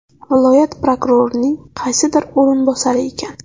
Viloyat prokurorining qaysidir o‘rinbosari ekan.